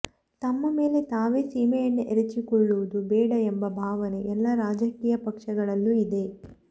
ತಮ್ಮ ಮೇಲೆ ತಾವೇ ಸೀಮೆಎಣ್ಣೆ ಎರಚಿಕೊಳ್ಳುವುದು ಬೇಡ ಎಂಬ ಭಾವನೆ ಎಲ್ಲ ರಾಜಕೀಯ ಪಕ್ಷಗಳಲ್ಲೂ ಇದೆ